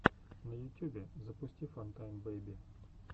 на ютюбе запусти фантайм бэйби